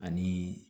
Ani